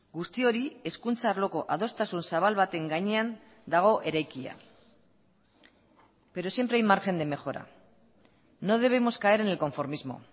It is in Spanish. guzti hori hezkuntza arloko adostasun zabal baten gainean dago eraikia pero siempre hay margen de mejora no debemos caer en el conformismo